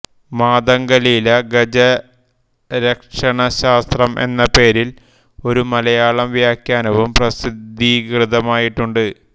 മാതംഗലീല ഗജരക്ഷണശാസ്ത്രം എന്ന പേരിൽ ഒരു മലയാളം വ്യാഖ്യാനവും പ്രസിദ്ധീകൃതമായിട്ടുണ്ട്